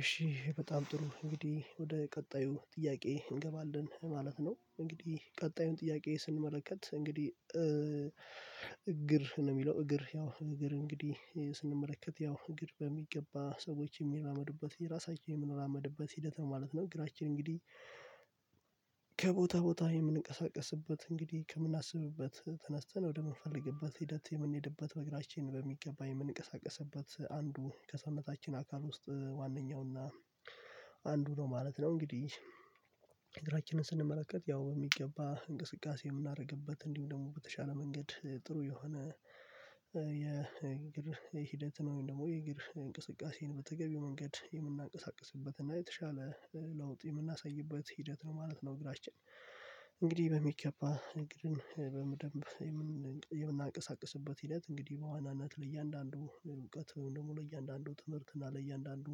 እሺ በጣም ጥሩ እንግዲህ ወደ ቀጣዩ ጥያቄ እንገባለን ማለት ነው። እንግዲህ ቀጣዩን ጥያቄ ስንመለከት እንግዲህ እግር ነው የሚለው እግር ያው እግር እንግዲህ ስንመለከት ያው እግር በሚገባ ሰዎች የሚራመዱበት የራሳችን የምንራመድበት ሂደት ማለት ነው እግራችን እንግዲህ ከቦታ ቦታ የምንቀሳቀስበት እንግዲህ ከምናስብበት ተነስተን ወደምንፈልግበት ሂደት የምንሄድበት በእግራችን በሚገባ የምንቀሳቀስበት አንዱ ከሰውነታችን አካል ውስጥ ዋነኛውና አንዱ ነው ማለት ነው። እንግዲህ እግራችንን ስንመለከት ያው ሚገባ እንቅስቃሴ ምናደረግበት እንዲሁ ደግሞ በተሻለ መንገድ ጥሩ የሆነ የእግር ሂደት ነው ወይም ደግሞ የእግር እንቅስቃሴን በተገቢው መንገድ የምናንቀሳቅስበት እና የተሻለ ለውጥ የምናሳይበት ሂደት ነው ማለት ነው። እግራችን እንግዲህ በሚገባ እግርን በምደምብ የምናቀሳቅስበት ሂደት እንግዲህ በዋናነት ለእያንዳንዱ እውቀት ወይም ደግሞ ለእያንዳንዱ ትምህርት እና ለእያንዳንዱ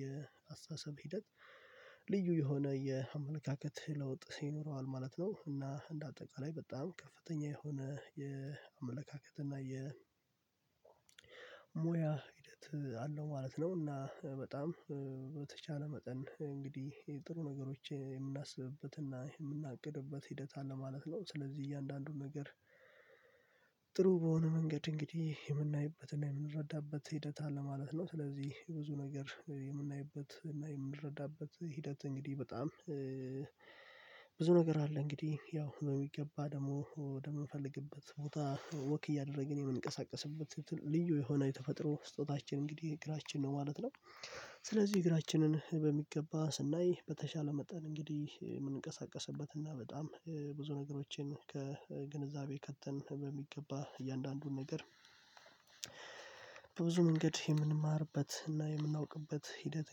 የአስተሳሰብ ሂደት ልዩ የሆነ የአመለካከት ለውጥ ይኖረዋል ማለት ነው። እና እንደ አጠቃላይ በጣም ከፍተኛ የሆነ የአመለካከት እና የሞያ ሂደት አለው ማለት ነው። እና በጣም በተቻለ መጠን እንግዲህ ጥሩ ነገሮች የምናስብበትና የምናቅድበት ሂደት አለ ማለት ነው። ስለዚህ እያንዳንዱን ነገር ጥሩ በሆነ መንገድ እንግዲህ የምናይበትና የምንረዳበት ሂደት አለ ማለት ነው። ስለዚህ ብዙ ነገር የምናይበትና የምንረዳበት ሂደት እንግዲህ በጣም ብዙ ነገር አለ እንግዲህ ያው በሚገባ ደግሞ ወደምንፈልግበት ቦታ ወክ እያደረግን የምንቀሳቀስበት ልዩ የሆነ የተፈጥሮ ስጦታችን እንግዲህ እግራችን ነው ማለት ነው። ስለዚህ እግራችንን በሚገባ ስናይ በተሻለ መጠን እንግዲህ የምንቀሳቀስበት እና በጣም ብዙ ነገሮችን ከግንዛቤ ከተን በሚገባ እያንዳንዱን ነገር በብዙ መንገድ የምንማርበት እና የምናውቅበት ሂደት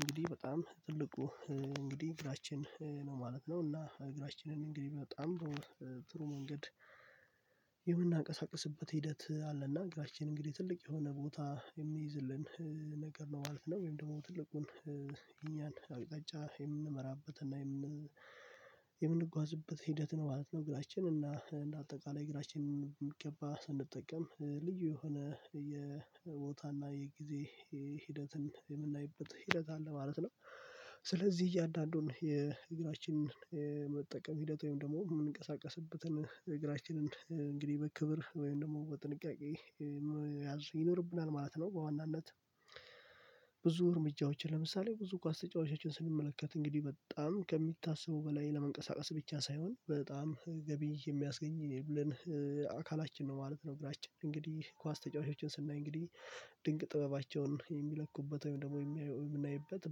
እንግዲህ በጣም ትልቁ እንግዲህ እግራችን ነው ማለት ነው። እና እግራችንን እንግዲህ በጣም ጥሩ ጥሩ መንገድ የምናንቀሳቅስበት ሂደት አለና እግራችን እንግዲህ ትልቅ የሆነ ቦታ የሚይዝልን ነገር ነው ማለት ነው። ወይም ደግሞ ትልቁን እኛን አቅጣጫ የምንመራበትና የምን የምንጓዝበት ሂደት ነው ማለት ነው። እግራችን እና እንደ አጠቃላይ እግራችን በሚገባ ስንጠቀም ልዩ የሆነ የቦታና የጊዜ ሂደትን የምናይበት ሂደት አለ ማለት ነው። ስለዚህ እያንዳንዱን የእግራችንን የመጠቀም ሂደት ወይም ደግሞ የምንቀሳቀስበትን እግራችንን እንግዲህ በክብር ወይም ደግሞ በጥንቃቄ ያዘ ይኖርብናል ማለት ነው። በዋናነት ብዙ እርምጃዎችን ለምሳሌ ብዙ ኳስ ተጫዋቾችን ስንመለከት እንግዲህ በጣም ከሚታሰቡ በላይ ለመንቀሳቀስ ብቻ ሳይሆን በጣም ገቢ የሚያስገኝልን አካላችን ነው ማለት ነው። እግራችን እንግዲህ ኳስ ተጫዋቾችን ስናይ እንግዲህ ድንቅ ጥበባቸውን የሚለቁበት ወይም ደግሞ የምናይበት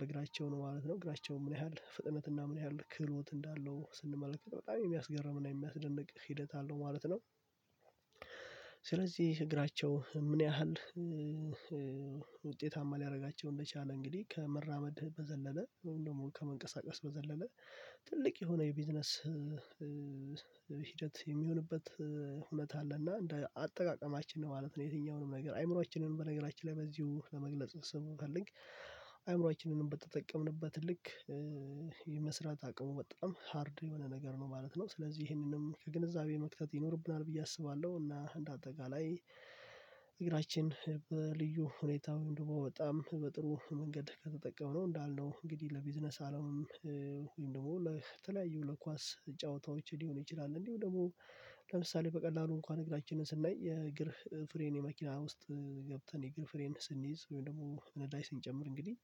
በእግራቸው ነው ማለት ነው። እግራቸው ምን ያህል ፍጥነትና ምን ያህል ክህሎት እንዳለው ስንመለከት በጣም የሚያስገርምና የሚያስደንቅ ሂደት አለው ማለት ነው። ስለዚህ እግራቸው ምን ያህል ውጤታማ ሊያደርጋቸው እንደቻለ እንግዲህ ከመራመድ በዘለለ ወይ ደሞ ከመንቀሳቀስ በዘለለ ትልቅ የሆነ የቢዝነስ ሂደት የሚሆንበት እውነት አለና እንደ አጠቃቀማችን ነው ማለት ነው። የትኛውንም ነገር አይምሮአችንንም በነገራችን ላይ በዚሁ ለመግለጽ ስንፈልክ አይምሮአችንንም በተጠቀምንበት ልክ የመስራት አቅሙ በጣም ሃርድ የሆነ ነገር ነው ማለት ነው። ስለዚህ ይሄንንም ከግንዛቤ መክተት ይኖርብናል ብዬ አስባለሁ። እና እንደ አጠቃላይ እግራችን በልዩ ሁኔታውን ወይም ደግሞ በጣም በጥሩ መንገድ ከተጠቀም ነው እንዳልነው እንግዲህ ለቢዝነስ አለም ወይም ደግሞ ለተለያዩ ለኳስ ጨዋታዎች ሊሆን ይችላል። እንዲሁ ደግሞ ለምሳሌ በቀላሉ እንኳን እግራችንን ስናይ የእግር ፍሬን የመኪና ውስጥ ገብተን የእግር ፍሬን ስንይዝ ወይ ደግሞ ነዳጅ ስንጨምር እንግዲህ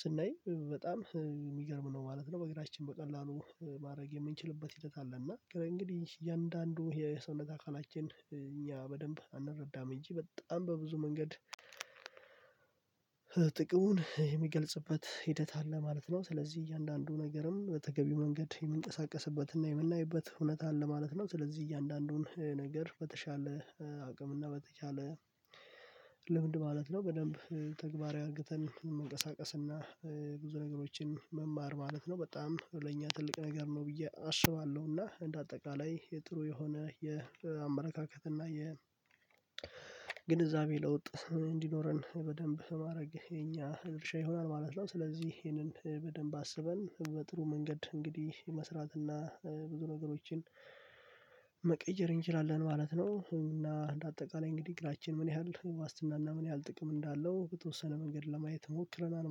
ስናይ በጣም የሚገርም ነው ማለት ነው። በእግራችን በቀላሉ ማድረግ የምንችልበት ሂደት አለ እና እንግዲህ እያንዳንዱ የሰውነት አካላችን እኛ በደንብ አንረዳም እንጂ በጣም በብዙ መንገድ ጥቅሙን የሚገልጽበት ሂደት አለ ማለት ነው። ስለዚህ እያንዳንዱ ነገርም በተገቢው መንገድ የምንቀሳቀስበትና የምንናይበት ሁነት አለ ማለት ነው። ስለዚህ እያንዳንዱን ነገር በተሻለ አቅምና በተቻለ ልምድ ማለት ነው በደንብ ተግባራዊ አርግተን መንቀሳቀስና ብዙ ነገሮችን መማር ማለት ነው። በጣም ለኛ ትልቅ ነገር ነው ብዬ አስባለሁና እንደ አጠቃላይ የጥሩ የሆነ የአመለካከት እና የግንዛቤ ለውጥ እንዲኖረን በደንብ ማድረግ የኛ ድርሻ ይሆናል ማለት ነው። ስለዚህ ይህንን በደንብ አስበን በጥሩ መንገድ እንግዲህ መስራት እና ብዙ ነገሮችን መቀየር እንችላለን ማለት ነው። እና እንደ አጠቃላይ እንግዲህ እግራችን ምን ያህል ዋስትና እና ምን ያህል ጥቅም እንዳለው በተወሰነ መንገድ ለማየት ሞክረናል